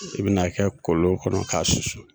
I bi n'a kɛ kolon kɔnɔ k'a susu